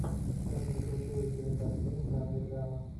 найди крутую кинокартину в жанре драма